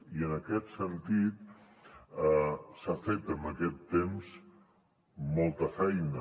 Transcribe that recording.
i en aquest sentit s’ha fet en aquest temps molta feina